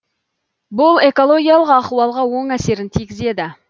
бұл экологиялық ахуалға оң әсерін тигізеді